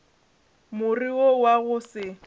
more wo wa go se